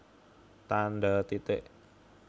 Tandha titik